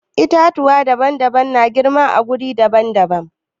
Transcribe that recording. Itatuwa daban-daban na girma a wuri daban-daban.